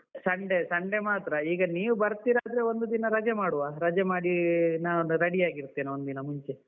Sunday, Sunday ಮಾತ್ರ ಈಗನೀವು ಬರ್ತಿರಾದ್ರೆ ಒಂದು ದಿನ ರಜೆ ಮಾಡುವ, ರಜೆ ಮಾಡಿ ನಾನೊಂದು ರೆಡಿ ಆಗಿರ್ತೇನೆ ಒಂದಿನ ಮುಂಚೆ.